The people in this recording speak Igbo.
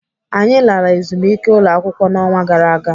Anyị lara ezumike ụlọakwụkwọ n'ọnwa gara aga.